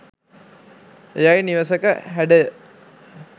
එයයි නිවසක හැඩය.